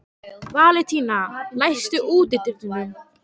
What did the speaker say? Valentína, læstu útidyrunum.